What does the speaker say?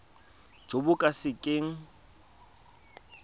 jo bo ka se keng